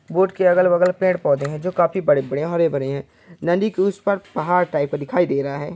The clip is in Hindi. बोट के अगल-बगल पेड़-पौधे हैं जो काफी बड़े-बड़े हैं और हरे-भरे हैं नदी के उस पार पहाड़ टाइप का दिखाई दे रहा हैं।